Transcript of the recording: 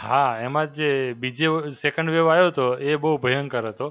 હાં, એમાં જે બીજો second wave આયો તો, એ બહુ ભયંકર હતો.